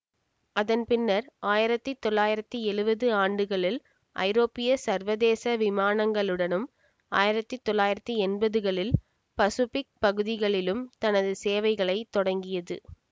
அதன்பின்னர் ஆயிரத்தி தொள்ளாயிரத்தி எழுவது ஆண்டுகளில் ஐரோப்பிய சர்வதேச விமானங்களுடனும் ஆயிரத்தி தொள்ளாயிரத்தி எம்பதுகளில் பசுபிக் பகுதிகளிலும் தனது சேவைகளை தொடங்கியது